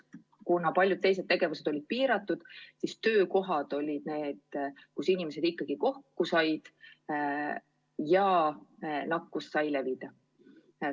Kuna paljud teised tegevused on olnud piiratud, siis töökohad on olnud paigad, kus inimesed ikkagi kokku on saanud ja nakkus on võinud levida.